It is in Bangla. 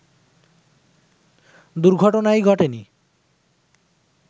দুর্ঘটনাই ঘটে নি